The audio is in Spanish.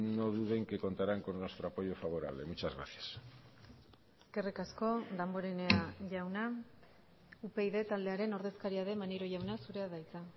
no duden que contarán con nuestro apoyo favorable muchas gracias eskerrik asko damborenea jauna upyd taldearen ordezkaria den maneiro jauna zurea da hitza